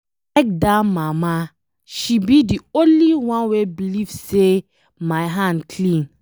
I like dat mama, she be the only one wey believe say my hand clean.